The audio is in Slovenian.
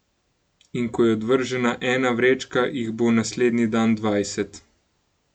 In ko je odvržena ena vrečka, jih bo naslednji dan dvajset.